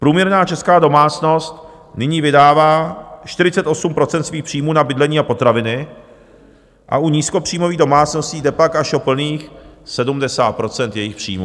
Průměrná česká domácnost nyní vydává 48 % svých příjmů na bydlení a potraviny a u nízkopříjmových domácností jde pak až o plných 70 % jejich příjmů.